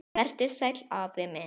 Vertu sæll, afi minn.